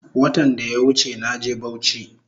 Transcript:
Watan daya wuche naje bauchi